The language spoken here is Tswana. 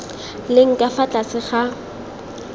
leng ka fa tlase ga